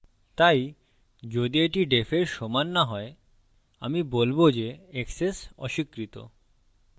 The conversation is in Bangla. তাই যদি এটি defএর সমান so হয় আমি বলবো যে access অস্বীকৃত